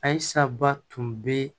Ayisaba tun bɛ